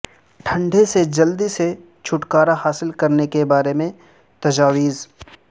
ٹھنڈے سے جلدی سے چھٹکارا حاصل کرنے کے بارے میں تجاویز